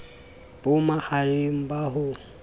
bo ma hareng ba ho